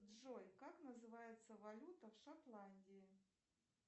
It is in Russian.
джой как называется валюта в шотландии